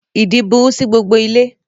Ìdin burú sí gbogbo ilé